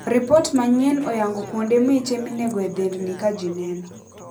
Ripot manyien oyango kuonde miche minego e dhendni kajineno.